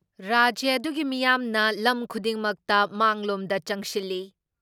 ꯔꯥꯖ꯭ꯌ ꯑꯗꯨꯒꯤ ꯃꯤꯌꯥꯝꯅ ꯂꯝ ꯈꯨꯗꯤꯡꯃꯛꯇ ꯃꯥꯡꯂꯣꯝꯗ ꯆꯪꯁꯤꯜꯂꯤ ꯫